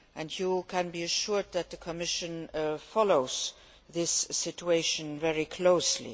You can be assured that the Commission is following this situation very closely.